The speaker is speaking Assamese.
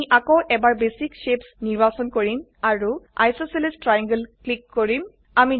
আমি আকৌ এবাৰBasic শেপছ নিৰ্বাচন কৰিম আৰু আইচছেলেছ ট্ৰায়াংলে ক্লিক কৰিম